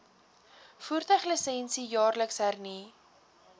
voertuiglisensie jaarliks hernu